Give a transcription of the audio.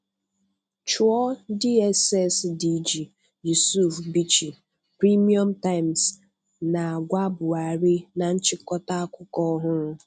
Chụọ DSS DG, Yusuf Bichi, Premium Times na-agwa Buhari na nchịkọta akụkọ ọhụrụ